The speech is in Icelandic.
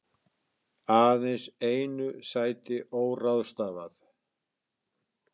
Aðeins einu sæti óráðstafað